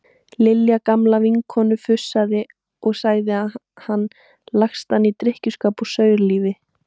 Lilja gamla vinnukona fussaði og sagði hann lagstan í drykkjuskap og saurlífi.